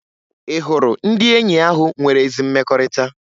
Ị hụrụ ndị enyi ahụ nwere ezi mmekọrịta?